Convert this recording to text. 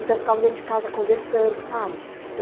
Então, eu ficava dentro de casa conversando, sabe?